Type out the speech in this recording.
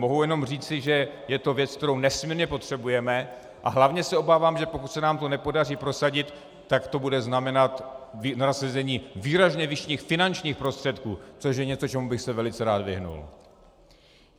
Mohu jenom říci, že je to věc, kterou nesmírně potřebujeme, a hlavně se obávám, že pokud se nám to nepodaří prosadit, tak to bude znamenat nasazení výrazně vyšších finančních prostředků, což je něco, čemu bych se velice rád vyhnul.